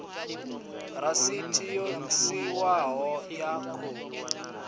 rasiti yo sainwaho ya khophi